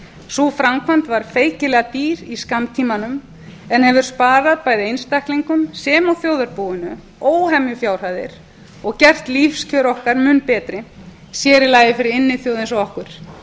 sú framkvæmd var feikilega dýr í skammtímanum en hefur sparað bæði einstaklingum sem og þjóðarbúinu óhemju fjárhæðir og gert lífskjör okkar mun betri sér í lagi fyrir inniþjóð eins og okkur